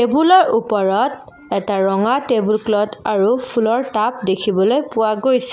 টেবুলৰ ওপৰত এটা ৰঙা টেবুল ক্লথ আৰু ফুলৰ টাব দেখিবলৈ পোৱা গৈছে।